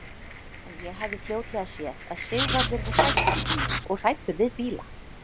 En ég hafði fljótlega séð að Sigvarður var hræddur í bíl og hræddur við bíla.